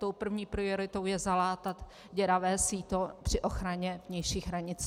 Tou první prioritou je zalátat děravé síto při ochraně vnějších hranic.